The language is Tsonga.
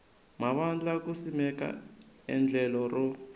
mavandla ku simeka endlelo ro